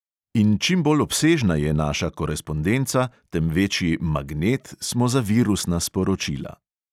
In čim bolj obsežna je naša korespondenca, tem večji "magnet" smo za virusna sporočila.